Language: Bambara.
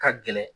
Ka gɛlɛn